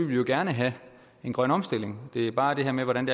vi jo gerne have en grøn omstilling det er bare det her med hvordan